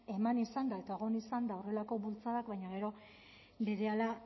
eman izan da eta egon izan da horrelako bultzadak baina gero berehala